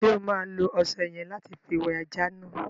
Ṣo ma lo ọṣẹ yẹ̀n lati fi wẹ ajá náà?